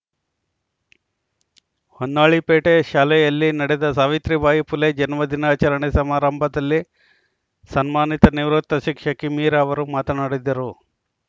ಹೊನ್ನಾಳಿ ಪೇಟೆ ಶಾಲೆಯಲ್ಲಿ ನಡೆದ ಸಾವಿತ್ರಿ ಬಾಯಿ ಪುಲೆ ಜನ್ಮ ದಿನಾಚರಣೆ ಸಮಾರಂಭದಲ್ಲಿ ಸನ್ಮಾನಿತ ನಿವೃತ್ತ ಶಿಕ್ಷಕಿ ಮೀರಾ ಅವರು ಮಾತನಾಡಿದರು